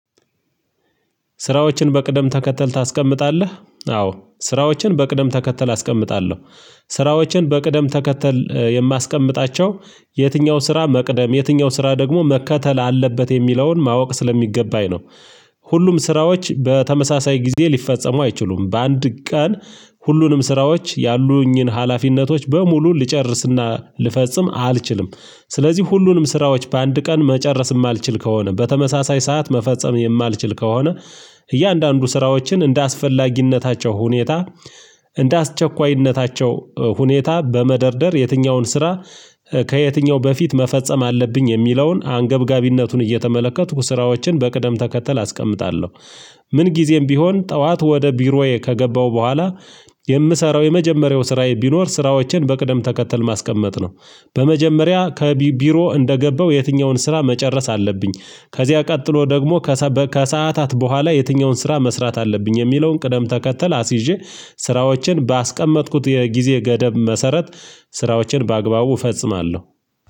ስራዎችን በቅደም ተከተል ታስቀምጣለህ አዎ ስራዎችን በቅደም ተከተል አስቀምጣለሁ ስራዎችን በቅደም ተከተል የማስቀምጣቸው የትኛው ስራ መቅደም የትኛው ስራ ደግሞ መከተል አለበት የሚለውን ማወቅ ስለሚገባኝ ነው። ሁሉም ስራዎች በተመሳሳይ ጊዜ ሊፈጸሙ አይችሉም በአንድ ቀን ሁሉንም ስራዎች ያሉኝን ሀላፊነቶች በሙሉ ልጨርስና ልፈጽም አልችልም። ስለዚህ ሁሉንም ስራዎች በአንድ ቀን መጨረስ የማልችል ከሆነ በተመሳሳይ ሰዓት መፈጸም የማልችል ከሆነ እያንዳንዱ ስራዎችን እንደ አስፈላጊነታቸው ሁኔታ እንደ አስቸኳይነታቸው ሁኔታ በመደርደር የትኛውን ስራ ከየትኛው በፊት መፈጸም አለብኝ የሚለውን አንገብጋቢነቱን እየተመለከቱ ስራዎችን በቅደም ተከተል አስቀምጣለሁ። ምን ጊዜም ቢሆን ጠዋት ወደ ቢሮዬ ከገባሁ በኋላ የምሰራው የመጀመሪያው ስራዬ ቢኖር ስራዎችን በቅደም ተከተል ማስቀመጥ ነው። በመጀመሪያ ከቢ ቢሮ እንደገባው የትኛውን ስራ መጨረስ አለብኝ። ከዚያ ቀጥሎ ደግሞ ከሰበ ከስአታት በኋላ የትኛውን ስራ መስራት አለብኝ የሚለውን ቅደም ተከተል አስይዤ። ስራዎችን ባስቀመጥኩት የጊዜ ገደብ መሰረት ስራዎችን በአግባቡ እፈጽማለሁ።